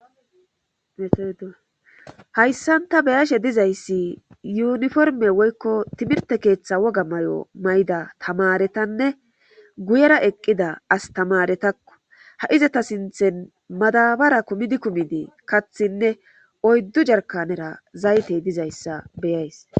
Hayssan ta beyashe dizayssi yuniforme woykko timirte keeththa woga may'o mayda tamaretanne guyera eqqida astamaretakko ha izata sinthen madabara kumidi kumidi kathinne oyddu jarkanera zaytey dizayssa beyays